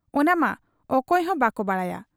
ᱚᱱᱟᱢᱟ ᱚᱠᱚᱭ ᱦᱚᱸ ᱵᱟᱠᱚ ᱵᱟᱰᱟᱭᱟ ᱾